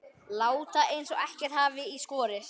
Láta eins og ekkert hafi í skorist.